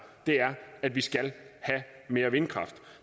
er at vi skal have mere vindkraft